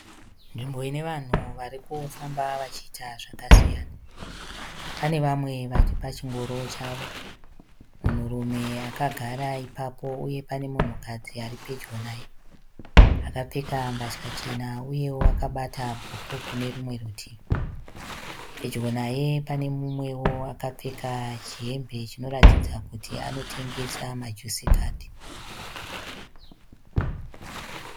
Nzvimbo ine vanhu varikufamba vachiita zvakasiyana, pane vamwe vari pachingoro chavo munhurume akagara ipapo uye pane munhukadzi aripedyo naye akapfeka mbatya chena uyewo akabata bhuku kune rumwe rutivi, pedyo naye pane mumwe akapfeka chihembe chinoratidza kuti anotengesa majusi card.